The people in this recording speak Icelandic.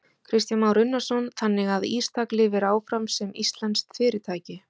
Kristján Már Unnarsson: Þannig að Ístak lifir áfram sem íslenskt fyrirtæki?